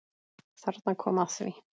Þarna kom að því.